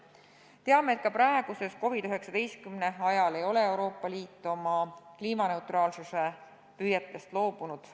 Teame, et ka praeguses olukorras, COVID-19 leviku ajal ei ole Euroopa Liit oma kliimaneutraalsuse püüetest loobunud.